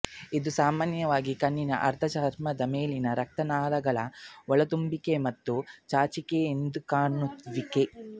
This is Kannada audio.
ಇದು ಸಾಮಾನ್ಯವಾಗಿ ಕಣ್ಣಿನ ಆರ್ದ್ರಚರ್ಮದ ಮೇಲ್ಮೈ ರಕ್ತನಾಳಗಳ ಒಳತುಂಬುವಿಕೆ ಮತ್ತು ಚಾಚಿಕೆಎದ್ದುಕಾಣುವಿಕೆ